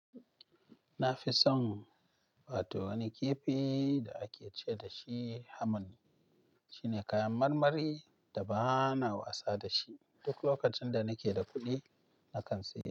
Nafi son wato wani kifi da ake ce da shi hamman. Shine kayan marmari da ba na wasa da shi duk lokacin da nake da kuɗi na kan sayi.